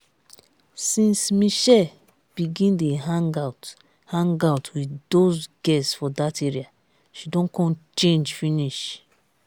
since mitchell begin dey hang out hang out with doz girls for that area she don come change finish